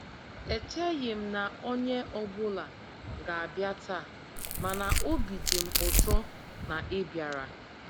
E cheghị m na onye ọ bụla ga-abịa taa, mana obi dị m ụtọ na ị́ bịara.